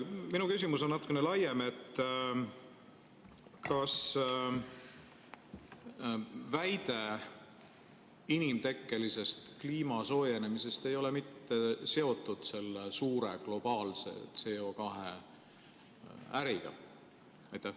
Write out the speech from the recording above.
Minu küsimus on natuke laiem: kas väide inimtekkelisest kliima soojenemisest ei ole mitte seotud selle suure globaalse CO2 äriga?